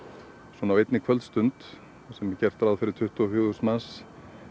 svona á einni kvöldstund þar sem gert er ráð fyrir tuttugu og fjögur þúsund manns